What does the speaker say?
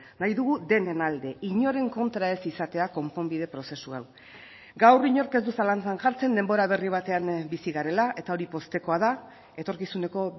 nahi dugu denen alde inoren kontra ez izatea konponbide prozesu hau gaur inork ez du zalantzan jartzen denbora berri batean bizi garela eta hori poztekoa da etorkizuneko